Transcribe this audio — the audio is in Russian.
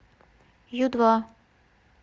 ю два